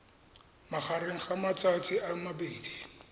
magareng ga matsatsi a mabedi